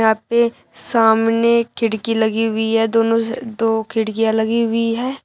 यहां पे सामने खिड़की लगी हुई है दोनो स दो खिड़कियां लगी हुई है।